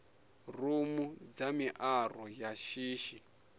rumu dza miaro ya shishi